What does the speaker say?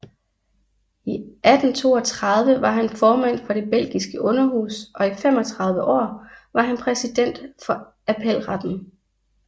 I 1832 var han formand for det belgiske underhus og i 35 år var han præsident for appelretten